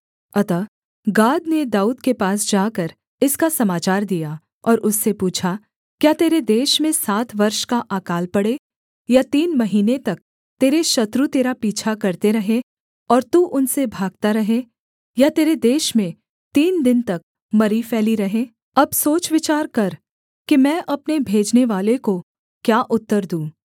अतः गाद ने दाऊद के पास जाकर इसका समाचार दिया और उससे पूछा क्या तेरे देश में सात वर्ष का अकाल पड़े या तीन महीने तक तेरे शत्रु तेरा पीछा करते रहें और तू उनसे भागता रहे या तेरे देश में तीन दिन तक मरी फैली रहे अब सोच विचार कर कि मैं अपने भेजनेवाले को क्या उत्तर दूँ